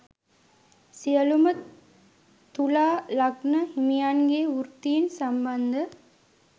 සියලූම තුලා ලග්න හිමියන්ගේ වෘත්තීන් සම්බන්ධ